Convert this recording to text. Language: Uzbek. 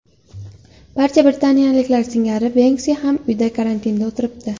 Barcha britaniyaliklar singari Benksi ham uyda karantinda o‘tiribdi.